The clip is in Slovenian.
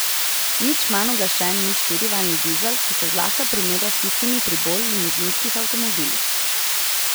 Nič manj uglašen ni štirivaljni dizel, ki se zlahka primerja s tistimi pri bolj limuzinskih avtomobilih.